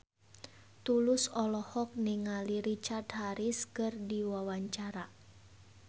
Tulus olohok ningali Richard Harris keur diwawancara